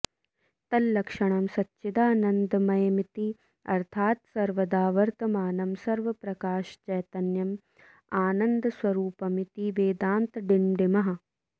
तल्लक्षणं सच्चिदानन्दमयमिति अर्थात् सर्वदा वर्तमानं स्वप्रकाशचैतन्यम् आनन्दस्वरूपमिति वेदान्तडिण्डिमः